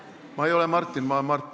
Ma ei ole Martin, ma olen Mart.